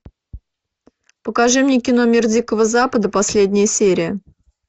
покажи мне кино мир дикого запада последняя серия